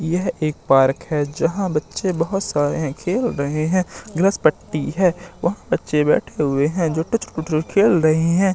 यह एक पार्क है जहां बच्चे बहोत सारे खेल रहे है ग्रसपट्टी है वह बच्चे बैठे हुए है जो खेल रहे है।